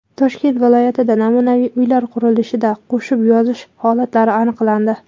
Toshkent viloyatida namunaviy uylar qurilishida qo‘shib yozish holatlari aniqlandi.